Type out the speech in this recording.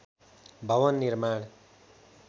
भवन निर्माण